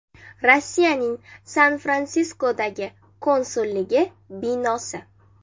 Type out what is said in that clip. Rossiyaning San-Fransiskodagi konsulligi binosi.